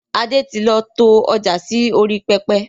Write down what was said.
Adé tí lọ to ọjà sì orí pẹpẹ